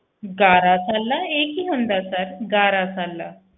ਗਾਰਾ ਸਾਲਾ ਇਹ ਕੀ ਹੁੰਦਾ sir ਗਾਰਾ ਸਾਲਾ?